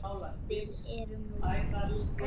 Við erum nú líkar!